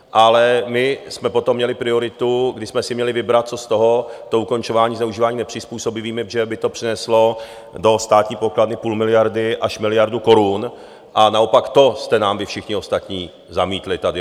Ale my jsme potom měli prioritu, když jsme si měli vybrat, co z toho, to ukončování zneužívání nepřizpůsobivými, protože by to přineslo do státní pokladny půl miliardy až miliardu korun, a naopak to jste nám vy všichni ostatní zamítli tady.